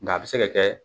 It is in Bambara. Nka a bɛ se ka kɛ